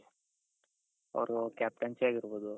ಅವರು captaincy ಆಗಿರ್ಬೋದು